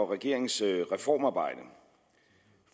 regeringens reformarbejde